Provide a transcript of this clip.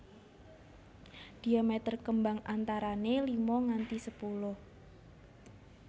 Diameter kembang antarané lima nganti sepuluh